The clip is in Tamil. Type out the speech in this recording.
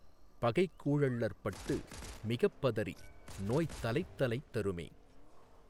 பகைக் கூழள்ளற்பட்டு மிகப்பதறி நோய்த் தலைத்தலைத்தருமே